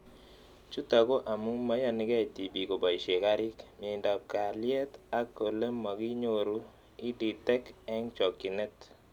Chutok ko, amu maiyanikei tipik kopoishe karik, miendop kalyet ak ole makiyoru EdTech eng' chokchinet